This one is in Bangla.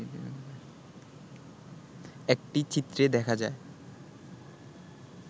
একটি চিত্রে দেখা যায়